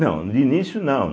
Não, no início não.